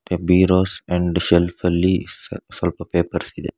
Bureaus and shelf ಅಲ್ಲಿ ಸ್ವಲ್ ಸ್ವಲ್ಪ ಪೇಪರ್ಸ್ ಇದೆ.